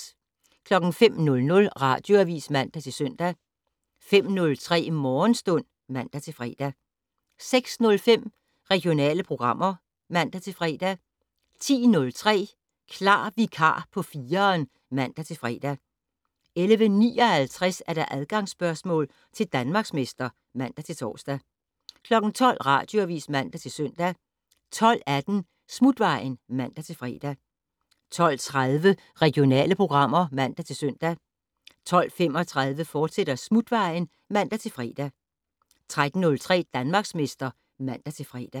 05:00: Radioavis (man-søn) 05:03: Morgenstund (man-fre) 06:05: Regionale programmer (man-fre) 10:03: Klar vikar på 4'eren (man-fre) 11:59: Adgangsspørgsmål til Danmarksmester (man-tor) 12:00: Radioavis (man-søn) 12:18: Smutvejen (man-fre) 12:30: Regionale programmer (man-søn) 12:35: Smutvejen, fortsat (man-fre) 13:03: Danmarksmester (man-fre)